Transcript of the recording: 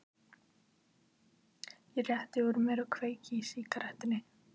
Ég rétti úr mér og kveiki í sígarettunni.